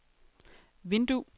vindue